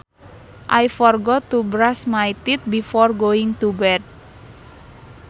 I forgot to brush my teeth before going to bed